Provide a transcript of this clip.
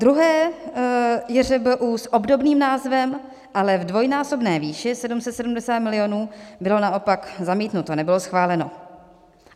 Druhé JŘBU s obdobným názvem, ale v dvojnásobné výši, 770 milionů, bylo naopak zamítnuto, nebylo schváleno.